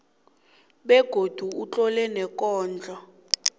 begodu utlole neenkondlo